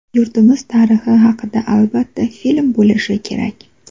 Yurtimiz tarixi haqida albatta film bo‘lishi kerak.